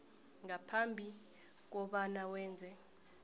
ngaphambi kobana wenze